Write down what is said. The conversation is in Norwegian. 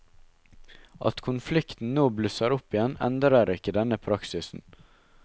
At konflikten nå blusser opp igjen, endrer ikke denne praksisen.